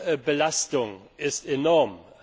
Die Lärmbelastung ist enorm.